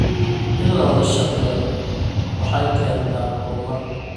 In la wada shaqeeyo waxay keentaa horumar.